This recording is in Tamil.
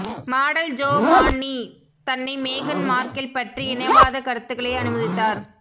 மாடல் ஜோ மான்னி தன்னை மேகன் மார்கெல் பற்றி இனவாத கருத்துக்களை அனுமதித்தார்